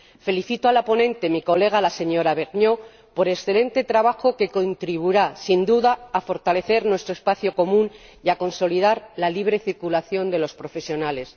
Felicito a la ponente, mi colega la señora Vergnaud, por el excelente trabajo, que contribuirá, sin duda, a fortalecer nuestro espacio común y a consolidar la libre circulación de los profesionales.